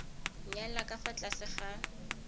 nyala ka fa tlase ga